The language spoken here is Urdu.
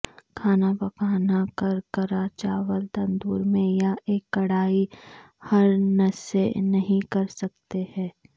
کھانا پکانا کرکرا چاول تندور میں یا ایک کڑاہی ہر نرسیں نہیں کر سکتے ہیں